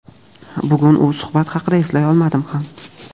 Bugun u suhbat haqida eslay olmadi ham.